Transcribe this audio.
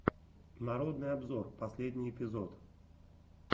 народный обзор последний эпизод